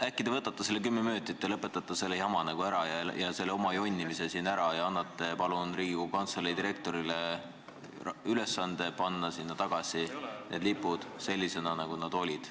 ... äkki te võtate selle kümme minutit ja lõpetate selle jama, selle oma jonnimise ära ja annate Riigikogu Kantselei direktorile ülesande panna need lipud üles selliselt, nagu need olid.